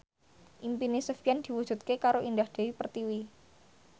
impine Sofyan diwujudke karo Indah Dewi Pertiwi